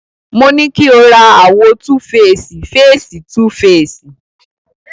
Mo ní kí o ra àwo túfeèsì féèsì 2 féèsì.